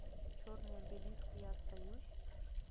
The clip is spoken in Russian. черный обелиск я остаюсь